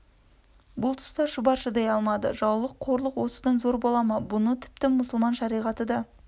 бұл тұста шұбар шыдай алмады жаулық қорлық осыдан зор бола ма бұны тіпті мұсылман шариғаты да